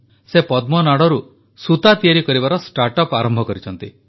ସେ ପଦ୍ମନାଡ଼ରୁ ସୂତା ତିଆରି କରିବାର ଷ୍ଟାର୍ଟ ଅପ ଆରମ୍ଭ କରିଛନ୍ତି